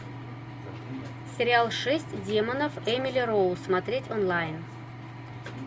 сериал шесть демонов эмили роуз смотреть онлайн